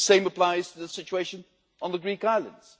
The same applies to the situation on the Greek islands.